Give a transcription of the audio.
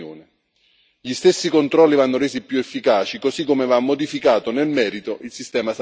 Gli stessi controlli vanno resi più efficaci, così come va modificato nel merito il sistema sanzionatorio.